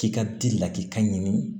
K'i ka di lakikaɲini